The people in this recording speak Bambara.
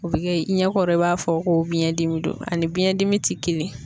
O bi kɛ i ɲɛkɔrɔ i b'a fɔ ko biyɛndimi do ani biyɛndimi tɛ kelen ye.